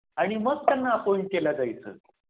आणि मग त्यांना अँपॉईंट केल जायचं.